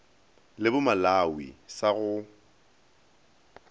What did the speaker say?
le bo malawi sa go